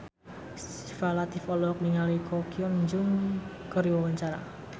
Syifa Latief olohok ningali Ko Hyun Jung keur diwawancara